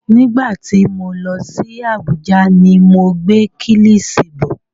Nígbà tí mo lọ sí Abuja ni mo gbé Kílìṣí bọ̀.